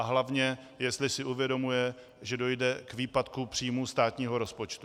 A hlavně, jestli si uvědomuje, že dojde k výpadku příjmů státního rozpočtu.